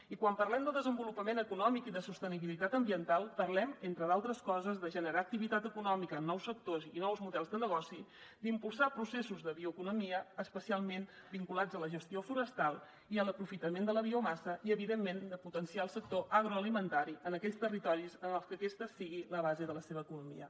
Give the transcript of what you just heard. i quan parlem de desenvolupament econòmic i de sostenibilitat ambiental parlem entre d’altres coses de generar activitat econòmica en nous sectors i nous models de negoci d’impulsar processos de bioeconomia especialment vinculats a la gestió forestal i a l’aprofitament de la biomassa i evidentment de potenciar el sector agroalimentari en aquells territoris en què aquest sigui la base de la seva economia